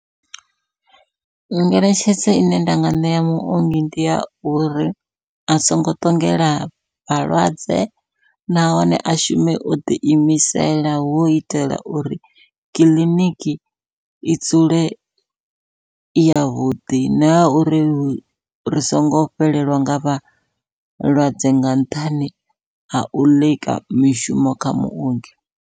Ngeletshedzo ine nda nga ṋea muongi ndi ya uri a songo ṱongela vhalwadze, nahone a shume o ḓi imisela. Hu u itela uri kiḽiniki i dzule i yavhuḓi, na ya uri ri songo fhelelwa nga vha vhalwadze nga nṱhani ha u ḽeka mishumo kha muongi.